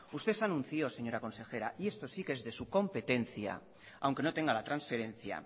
usted anunció señora consejera y esto sí que es de su competencia aunque no tenga la transferencia